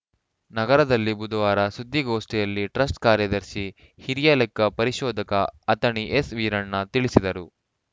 ನಗರದಲ್ಲಿ ಬುಧವಾರ ಸುದ್ದಿಗೋಷ್ಠಿಯಲ್ಲಿ ಟ್ರಸ್ಟ್‌ ಕಾರ್ಯದರ್ಶಿ ಹಿರಿಯ ಲೆಕ್ಕ ಪರಿಶೋಧಕ ಅಥಣಿ ಎಸ್‌ವೀರಣ್ಣ ತಿಳಿಸಿದರು